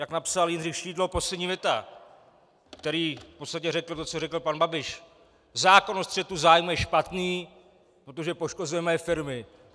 Jak napsal Jindřich Šídlo, poslední věta, který v podstatě řekl to, co řekl pan Babiš: "Zákon o střetu zájmu je špatný, protože poškozuje moje firmy."